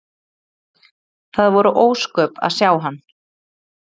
Það voru ósköp að sjá hann.